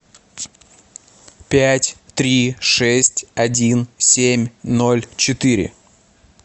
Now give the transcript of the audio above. пять три шесть один семь ноль четыре